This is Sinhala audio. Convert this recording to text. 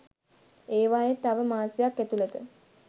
ඒවායේ තව මාසයක් ඇතුළත